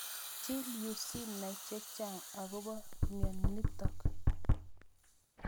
Chill yuu sinai chechang' akopo nitok